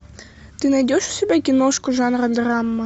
ты найдешь у себя киношку жанра драма